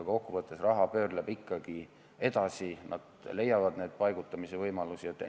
Kokkuvõttes raha pöörleb ikkagi edasi, nad leiavad need paigutamise võimalused.